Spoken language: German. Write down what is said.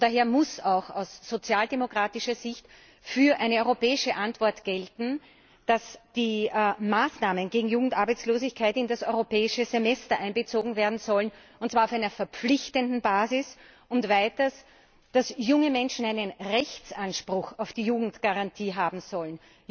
Daher muss auch aus sozialdemokratischer Sicht für eine europäische Antwort gelten, dass die Maßnahmen gegen Jugendarbeitslosigkeit in das Europäische Semester einbezogen werden sollen, und zwar auf einer verpflichtenden Basis, und weiters dass junge Menschen einen Rechtsanspruch auf die Jugendgarantie haben sollen.